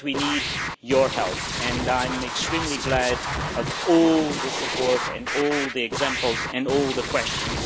But we need your help, and I am extremely glad of all the support, all the examples cited and all the questions.